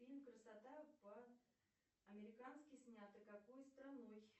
фильм красота по американски снятый какой страной